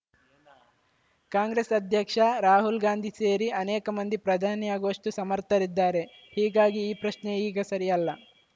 ಕಾಂಗ್ರೆಸ್‌ ಅಧ್ಯಕ್ಷ ರಾಹುಲ್‌ ಗಾಂಧಿ ಸೇರಿ ಅನೇಕ ಮಂದಿ ಪ್ರಧಾನಿಯಾಗುವಷ್ಟುಸಮರ್ಥರಿದ್ದಾರೆ ಹೀಗಾಗಿ ಈ ಪ್ರಶ್ನೆ ಈಗ ಸರಿಯಲ್ಲ